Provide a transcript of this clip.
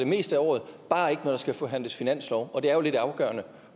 meste af året bare ikke når der skal forhandles finanslov og det er jo lidt afgørende